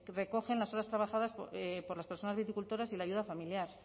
recogen las horas trabajadas por las personas viticultoras y la ayuda familiar